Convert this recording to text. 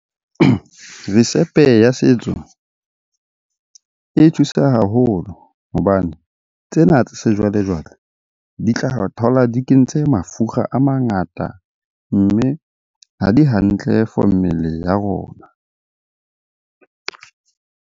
Risepe ya setso e thusa haholo hobane tsena tsa sejwale-jwale di tla thola di kentse mafura a mangata, mme ha di hantle for mmele ya rona.